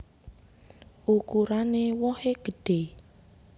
Ukuran wohé gedhé